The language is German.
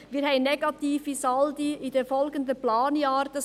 Wir haben in den folgenden Planjahren negative Saldi.